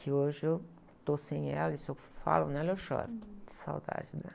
Que hoje eu estou sem ela e se eu falo nela, eu choro de saudade dela.